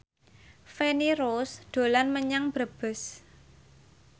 Feni Rose dolan menyang Brebes